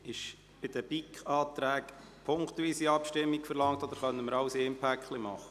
Ist zu den BiK-Anträgen eine punktweise Abstimmung verlangt, oder können wir alles in einem Paket machen?